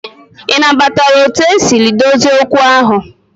I na batala otu esi dozie okwu ahụ?